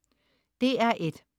DR1: